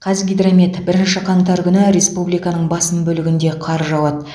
қазгидромет бірінші қаңтар күні республиканың басым бөлігінде қар жауады